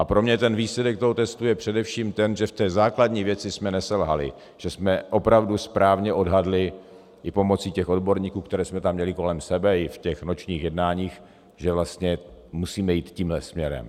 A pro mě ten výsledek toho testu je především ten, že v té základní věci jsme neselhali, že jsme opravdu správně odhadli i pomocí těch odborníků, které jsme tam měli kolem sebe, i v těch nočních jednáních, že vlastně musíme jít tímhle směrem.